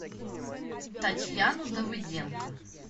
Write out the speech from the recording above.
татьяну давыденко